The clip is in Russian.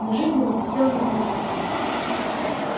но жизнь его висела на волоске